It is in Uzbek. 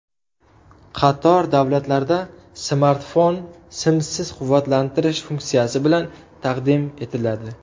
Qator davlatlarda smartfon simsiz quvvatlantirish funksiyasi bilan taqdim etiladi.